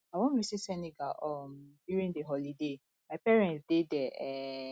i wan visit senegal um during the holiday my parents dey there um